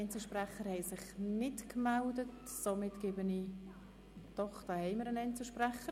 Etter hat nun das Wort als Einzelsprecher.